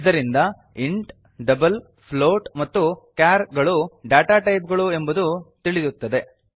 ಇದರಿಂದ int double float ಮತ್ತು char ಗಳು ಡಾಟಾ ಟೈಪ್ ಗಳು ಎಂಬುದು ತಿಳಿಯುತ್ತದೆ